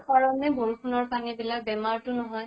পাৰ নে বৰষুণৰ পানী বিলাক বেমাৰ তো নহয় ?